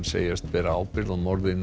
segjast bera ábyrgð á morði